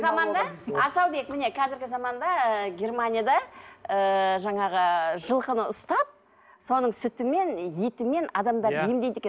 асаубек міне қазіргі заманда ы германияда ыыы жаңағы жылқыны ұстап соның сүтімен етімен адамдарды емдейді екен